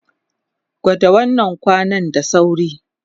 Kwada wannan kwanan da sauri!